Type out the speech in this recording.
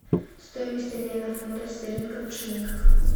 стоимость обмена фунтов стерлингов в шиллингах